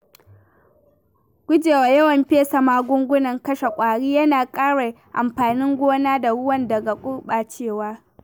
Guje wa yawan fesa magungunan kashe ƙwari yana kare amfanin gona da ruwa daga gurɓacewa.